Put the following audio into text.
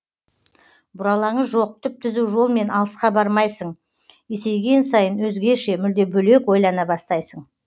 бұралаңы жоқ түп түзу жолмен алысқа бармайсың есейген сайын өзгеше мүлде бөлек ойлана бастайсың